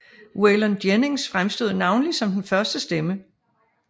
Waylon Jennings fremstod navnlig som den største stemme